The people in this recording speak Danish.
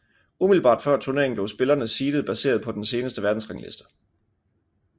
Umiddelbart før turneringen blev spillerne seeded baseret på den seneste verdensrangliste